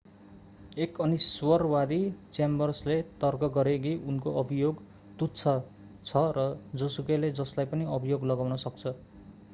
एक अनिश्वरवादी च्याम्बर्सले तर्क गरे कि उनको अभियोग तुच्छ छ र जोसुकैले जसलाई पनि अभियोग लगाउन सक्छ